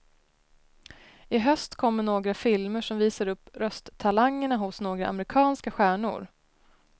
I höst kommer några filmer som visar upp rösttalangerna hos några amerikanska stjärnor.